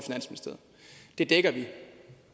i dækker vi